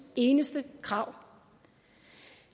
eneste krav